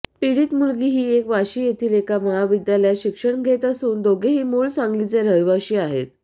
पीडित मुलगी ही वाशी येथील एका महाविद्यालयात शिक्षण घेत असून दोघेही मूळ सांगलीचे रहिवासी आहेत